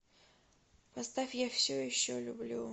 поставь я все еще люблю